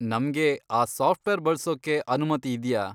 ನಮ್ಗೆ ಆ ಸಾಫ್ಟವೇರ್ ಬಳ್ಸೋಕೆ ಅನುಮತಿ ಇದ್ಯಾ?